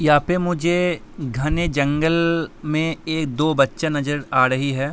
यहा पे मुझे घने जंगल में एक दो बच्चे नजर आ रही हैं।